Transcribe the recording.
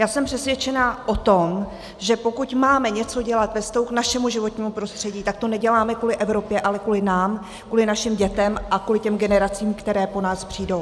Já jsem přesvědčená o tom, že pokud máme něco dělat ve vztahu k našemu životnímu prostředí, tak to neděláme kvůli Evropě, ale kvůli nám, kvůli našim dětem a kvůli těm generacím, které po nás přijdou.